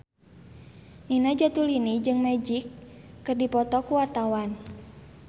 Nina Zatulini jeung Magic keur dipoto ku wartawan